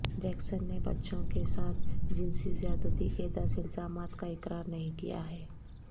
Jackson نے بچوں کے ساتھ جنسی زیادتی کے دس الزامات کا اقرار نہیں کیا ہے